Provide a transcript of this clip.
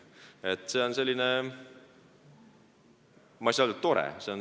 Ma ei saa öelda, et see on tore kogemus.